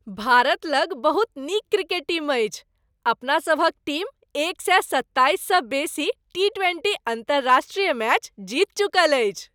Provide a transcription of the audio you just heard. भारत लग बहुत नीक क्रिकेट टीम अछि। अपनासभक टीम एक सए सत्ताइस सँ बेसी टी ट्वेंटी अन्तर्राष्ट्रीय मैच जीत चुकल अछि।